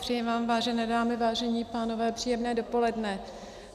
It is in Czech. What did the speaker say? Přeji vám, vážené dámy, vážení pánové, příjemné dopoledne.